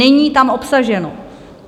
Není tam obsaženo.